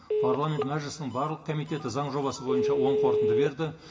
парламент мәжілісінің барлық комитеті заң жобасы бойынша өң қорытынды берді